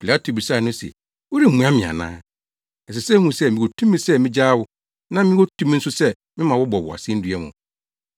Pilato bisaa no se, “Woremmua me ana? Ɛsɛ sɛ wuhu sɛ mewɔ tumi sɛ migyaa wo na mewɔ tumi nso sɛ mema wɔbɔ wo asennua mu!”